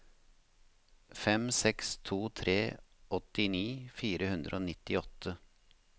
fem seks to tre åttini fire hundre og nittiåtte